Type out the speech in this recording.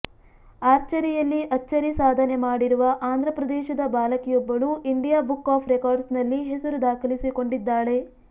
ಆರ್ಚರಿಯಲ್ಲಿ ಅಚ್ಚರಿ ಸಾಧನೆ ಮಾಡಿರುವ ಆಂಧ್ರ ಪ್ರದೇಶದ ಬಾಲಕಿಯೊಬ್ಬಳು ಇಂಡಿಯಾ ಬುಕ್ ಆಫ್ ರೆಕಾರ್ಡ್ಸ್ ನಲ್ಲಿ ಹೆಸರು ದಾಖಲಿಸಿಕೊಂಡಿದ್ದಾಳೆ